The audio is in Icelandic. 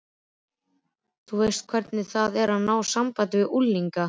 Þú veist hvernig það er að ná sambandi við unglinga.